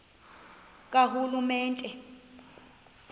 karhulumente